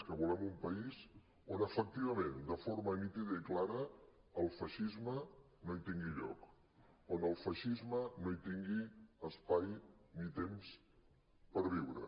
que volem un país on efectivament de forma nítida i clara el feixisme no hi tingui lloc on el feixisme no hi tingui espai ni temps per viure